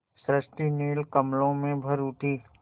सृष्टि नील कमलों में भर उठी